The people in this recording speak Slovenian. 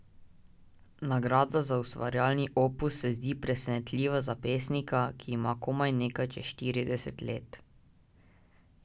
Nagrada za ustvarjalni opus se zdi presenetljiva za pesnika, ki ima komaj nekaj čez štirideset let.